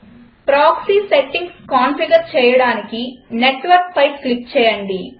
proxy settings configure చేయడానికి Networkపై click చేయండి